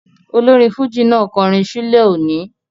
Olórin fújì náà kọrin ṣúlẹ̀ òní